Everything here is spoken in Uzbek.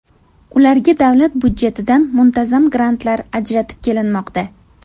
Ularga davlat budjetidan muntazam grantlar ajratib kelinmoqda.